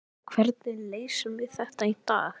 Ég meina, hvernig leysum við þetta í dag?